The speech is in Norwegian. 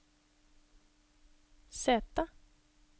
sete